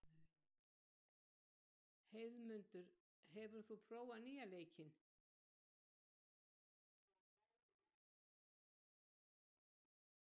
Heiðmundur, hefur þú prófað nýja leikinn?